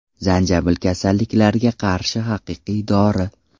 Zanjabil kasalliklarga qarshi haqiqiy dori.